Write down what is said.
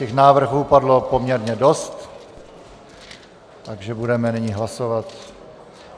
Těch návrhů padlo poměrně dost, takže budeme nyní hlasovat.